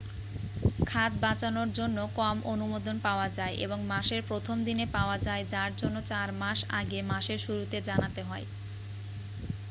খাদ বাঁচানোর জন্য কম অনুমোদন পাওয়া যায় এবং মাসের প্রথম দিনে পাওয়া যায় যার জন্য চার মাস আগে মাসের শুরুতে জানাতে হয়